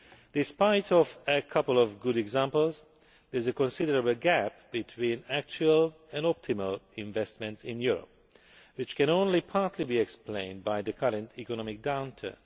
Despite a couple of good examples, there is a considerable gap between actual and optimal investments in Europe, which can only be partly explained by the current economic downturn.